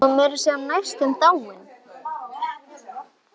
Hún var meira að segja næstum dáin.